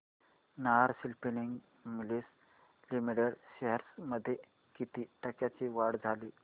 Nahar spinning mills limited shares मध्ये किती टक्क्यांची वाढ झाली